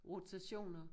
Rotationer